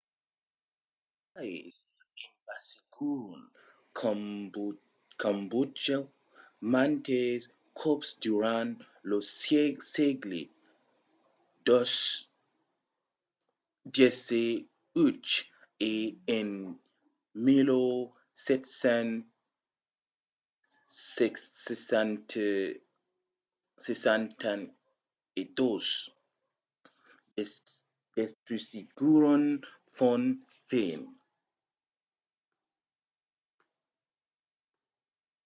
los tais envasiguèron cambòtja mantes còps durant lo sègle xviii e en 1772 destrusiguèron phnom phen